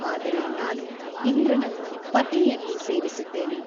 ಆದರೆ ನಾನು ಇಂದ್ರನನ್ನು ಪತಿಯೆಂದು ಸೇವಿಸಿದ್ದೇನೆ.